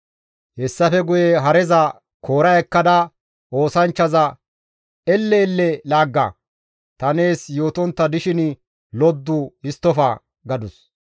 Hessafe guye hareza koora ekkada oosanchchaza, «Elle elle laagga; ta nees yootontta dishin loddu histtofa» gadus.